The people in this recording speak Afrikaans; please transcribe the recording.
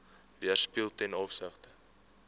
weerspieël ten opsigte